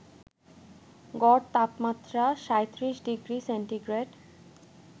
গড় তাপমাত্রা ৩৭ degree centigrade